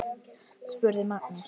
spurði Magnús.